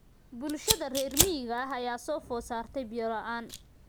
Bulshada reer miyiga ah ayaa soo food saartay biyo la�aan.